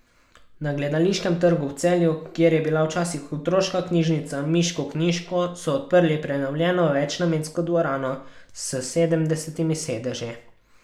Na Gledališkem trgu v Celju, kjer je bila včasih otroška knjižnica Miško Knjižko, so odprli prenovljeno večnamensko dvorano s sedemdesetimi sedeži.